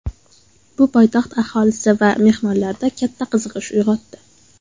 Bu poytaxt aholisi va mehmonlarida katta qiziqish uyg‘otdi.